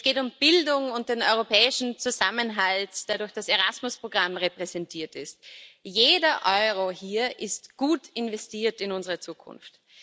Es geht um Bildung und den europäischen Zusammenhalt, der durch das Erasmus Programm repräsentiert ist. Jeder Euro hier ist gut investiert in unsere Zukunft.